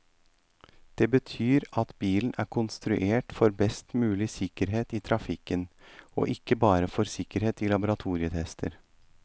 Det betyr at bilen er konstruert for best mulig sikkerhet i trafikken, og ikke bare for sikkerhet i laboratorietester.